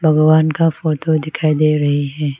भगवान का फोटो दिखाई दे रही है।